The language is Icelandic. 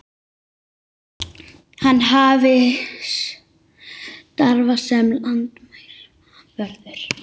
Hann hafi starfað sem landamæravörður